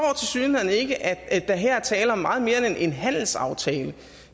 tilsyneladende ikke at der her er tale om meget mere end en handelsaftale